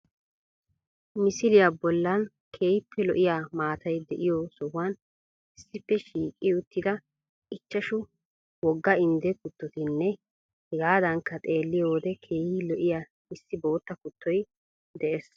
Misiliya bollan keehippe lo'iya maatay de'iyo sohuwan issippe shiiqi uttida ichchashu wogga indde kuttotinne hegaadankka xeelliyo wode keehi lo''iya issi bootta kuttoy dees